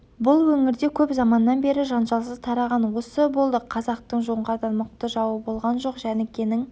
бұл өңірде көп заманнан бері жанжалсыз тараған осы болды қазақтың жоңғардан мықты жауы болған жоқ жәнікенің